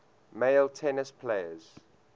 male tennis players